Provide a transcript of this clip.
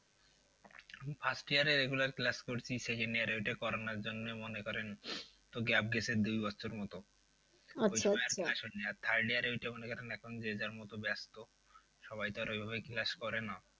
আমি first year এ regular class করেছি second year এ ওইটা করোনার জন্য মনে করেন তো gap গেছে দুই বছর মতো আর third year এ ওইটা মনে করেন এখন যে যার মতন ব্যস্ত সবাই তো আর ওই ভাবে class করে না।